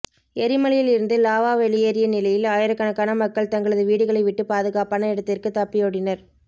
எரிமலையில் இருந்து லாவா வெளியேறிய நிலையில் ஆயிரக்கணக்கான மக்கள் தங்களது வீடுகளை விட்டு பாதுகாப்பான இடத்திற்கு தப்பியோடினர்